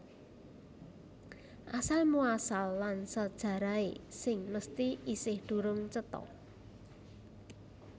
Asal muasal lan sajarahé sing mesthi isih durung cetha